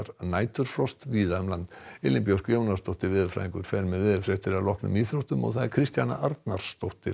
næturfrost víða um land Elín Björk Jónasdóttir veðurfræðingur fer með veðurfregnir að loknum íþróttum Kristjana Arnarsdóttir